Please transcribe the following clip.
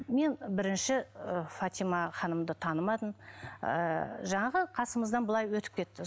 мен бірінші ы фатима ханымды танымадым ыыы жаңағы қасымыздан былай өтіп кетті